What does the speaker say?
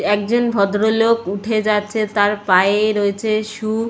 একজন ভদ্র লোক উঠে যাচ্ছে তার পায়ে রয়েছে সু ।